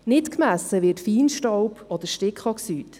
Nicht gemessen werden Feinstaub oder Stickoxid.